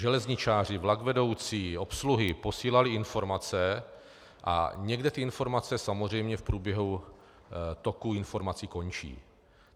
Železničáři, vlakvedoucí, obsluhy posílali informace a někde ty informace samozřejmě v průběhu toku informací končí.